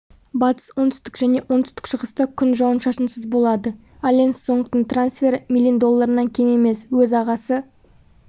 батыс оңтүстік және оңтүстік-шығыста күн жауын-шашынсыз болады алекс сонгтің трансферы миллин долларынан кем емес өз ағасы